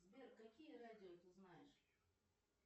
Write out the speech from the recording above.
сбер какие радио ты знаешь